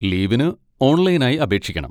ലീവിന് ഓൺലൈനായി അപേക്ഷിക്കണം.